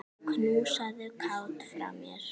Knúsaðu Kát frá mér.